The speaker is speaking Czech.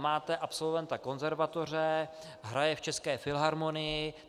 Máte absolventa konzervatoře, hraje v České filharmonii.